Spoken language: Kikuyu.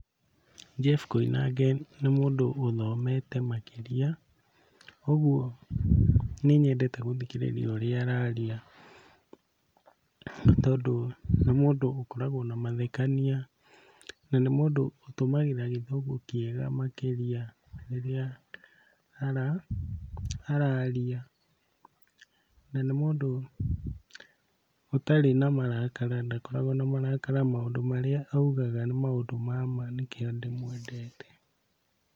Jeff Koinange nĩ mũndũ ũthomete makĩria, ũguo nĩnyendete gũthikĩrĩria ũrĩa araria tondũ nĩ mũndũ ũkoragwo na mathekania na nĩ mũndũ ũtũmagĩra Gĩthũngũ kĩega makĩria rĩrĩa araria. Na, nĩ mũndũ ũtarĩ na marakara ndakoragwo na marakara maũndũ marĩa arauga nĩ ma ma nĩkĩo ndĩmwendete.